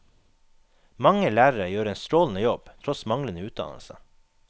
Mange lærere gjør en strålende jobb tross manglende utdannelse.